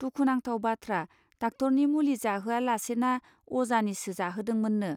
दुखुनांथाव बाथ्रा डाक्टरनि मुलि जाहोआ लासेना अजानिसो जाहोदोंमोननो.